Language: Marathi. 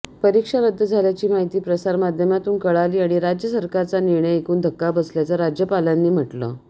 परीक्षा रद्द झाल्याची माहिती प्रसारमाध्यमातून कळाली आणि राज्य सरकारचा निर्णय ऐकून धक्का बसल्याचं राज्यापालांनी म्हटलं